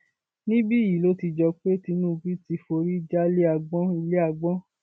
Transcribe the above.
níbí yìí ló jọ pé tinubu ti forí já ilé agbọn ilé agbọn